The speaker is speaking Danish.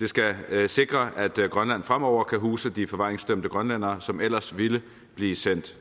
det skal sikre at grønland fremover kan huse de forvaringsdømte grønlændere som ellers ville blive sendt